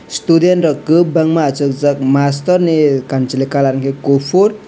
student rok ko bangma asokjak mastor ni kansoloi colour hingke kopor.